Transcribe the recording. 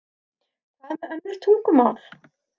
Hvað með önnur tungumál?